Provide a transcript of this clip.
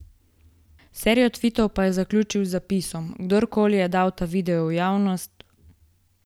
Serijo tvitov pa je zaključil z zapisom: "Kdorkoli je dal ta video v javnost ...